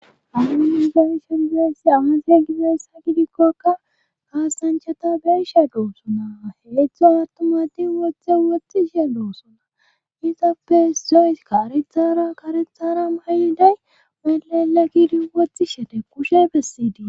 adu gigayishe rigassi aasiya gizessa gidikkoka kaasanchata beeshe doo suna heletho attumadin wothe woxtxi shee doos suna izappe says karethara karethara maayiday melala gidi wothi shede kushe bessidii